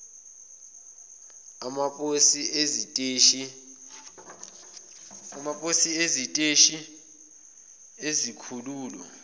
amaposi iziteshi izikhululo